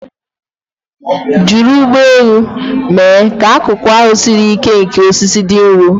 Jiri ụgbọ elu mee ka akụkụ ahụ siri ike nke osisi dị nro.